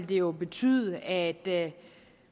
det jo betyde at